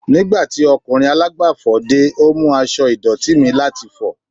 Nigbati okunrin alagbafọ̀ de, o mu aṣọ idọti mi lati wẹ